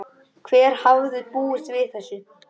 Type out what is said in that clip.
Hver hefði búist við þessu?